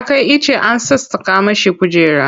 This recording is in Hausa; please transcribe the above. Ya kai ice an sassaƙa mishi kujera.